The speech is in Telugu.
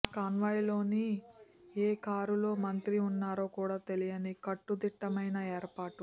ఆ కాన్వాయ్లోని ఏ కారులో మంత్రి ఉన్నారో కూడా తెలియని కట్టుదిట్టమైన ఏర్పాట్లు